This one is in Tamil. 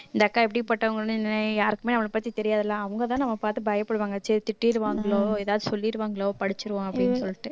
இந்த அக்கா எப்படிப்பட்டவங்கன்னு யாருக்குமே அவன பத்தி தெரியாதுல அவங்க தான் நம்மள பாத்து பயப்படுவாங்க திட்டிடுவாங்களோ ஏதாவது சொல்லிருவாங்களோ படிச்சிருவோம் அப்படீன்னு சொல்லிட்டு